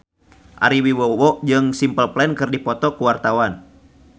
Ari Wibowo jeung Simple Plan keur dipoto ku wartawan